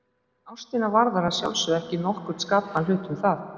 En ástina varðar að sjálfsögðu ekki nokkurn skapaðan hlut um það.